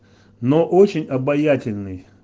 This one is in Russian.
но очень обаятельный